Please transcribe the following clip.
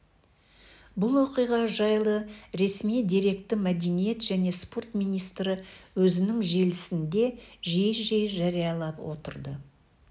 бұл оқиға жайлы ресми деректі мәдениет және спорт министрі өзінің желісінде жиі-жиі жариялап отырды